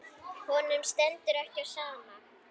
Honum stendur ekki á sama.